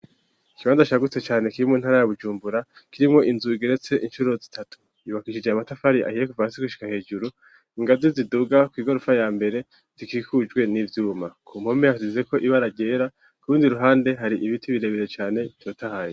Ikibanza cagutse cane kiri mu ntara ya bujumbura kirimwo inzu igeretse incuro zitatu yubakishije amatafari ahiye kuva hasi gushika hejuru, ingazi ziduga kw'igorofa ya mbere zikikujwe n'ivyuma. Ku mpome hasizeko ibara ryera kurundi ruhande hari ibiti birebere cane bitotahaye.